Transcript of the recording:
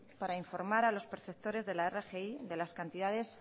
para informar a los perceptores de la rgi de las cantidades